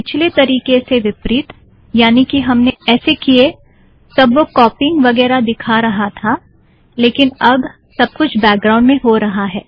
पिछले तरीके से विपरीत यानि कि हमने ऐसे किये तब वह कॉपीइंग वगेरा दिखा रहा था लेकिन अब सब कुछ बैकग्राउंड में हो रहा है